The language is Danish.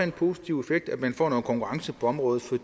en positiv effekt at man får noget konkurrence på området for